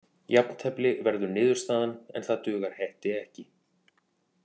Jafntefli verður niðurstaðan en það dugar Hetti ekki.